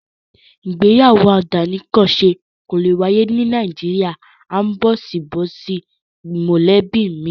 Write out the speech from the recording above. Ìgbéyàwó àdánìkanṣe kò lè wáyé ní Nàìjíríà áńbọ̀síbọ̀sí mọ̀lẹ́bí mi.